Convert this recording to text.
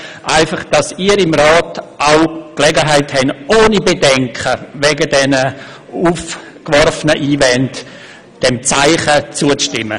Dies damit Sie hier im Rat die Gelegenheit erhalten, ohne Bedenken hinsichtlich der aufgeworfenen Einwände diesem Zeichen zuzustimmen.